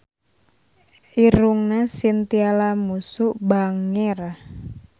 Irungna Chintya Lamusu bangir